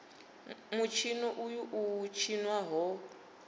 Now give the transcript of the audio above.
mutshino uyu u tshinwa ho